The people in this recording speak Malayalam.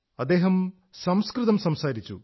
അദ്ദേഹം സംസ്കൃതം സംസാരിച്ചു